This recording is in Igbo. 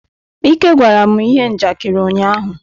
Ike gwara m ihe njakịrị ụnyaahụ.